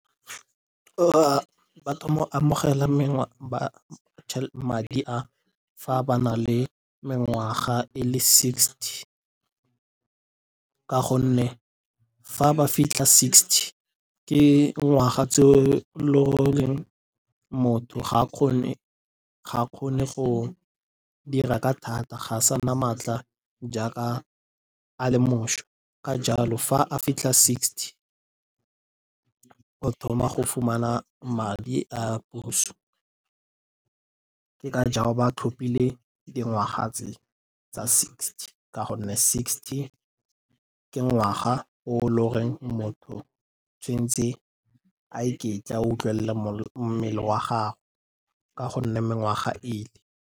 Madi a fa ba na le mengwaga e le sixty ka gonne fa ba fitlha sixty ke ngwaga tseo lo reng motho ga kgone go dira ka thata. Ga a sa na maatla jaaka a le mošwa, ka jalo fa a fitlha sixty o thoma go fumana madi a puso. Ka jalo ba tlhophile dingwaga tse tsa sixty ka gonne sixty ke ngwaga o loreng motho tshwen'tse a iketla, a utlwele mmele wa gago ka gonne mengwaga ile.